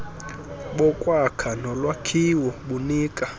bokwakha nolwakhiwo bunika